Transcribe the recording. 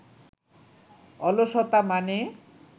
অলসতা মানে